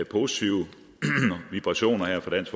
positive vibrationer her fra dansk